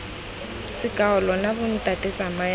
seako lona bontate tsamayang lo